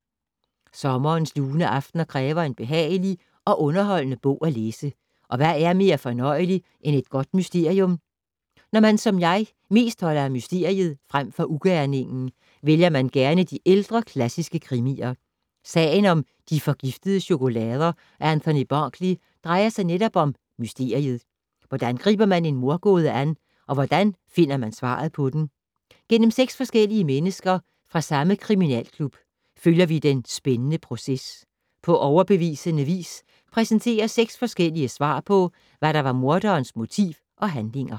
Sommerens lune aftener kræver en behagelig og underholdende bog at læse, og hvad er mere fornøjeligt end et godt mysterium? Når man, som jeg, mest holder af mysteriet frem for ugerningen, vælger man gerne de ældre klassiske krimier. Sagen om de forgiftede chokolader af Anthony Berkeley drejer sig netop om mysteriet. Hvordan griber man en mordgåde an, og hvordan finder man svaret på den? Gennem seks forskellige mennesker, fra samme kriminalklub, følger vi den spændende proces. På overbevisende vis præsenteres seks forskellige svar på, hvad der var morderens motiv og handlinger.